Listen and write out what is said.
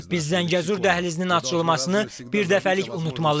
Biz Zəngəzur dəhlizinin açılmasını birdəfəlik unutmalıyıq.